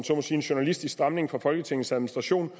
en journalistisk stramning fra folketingets administration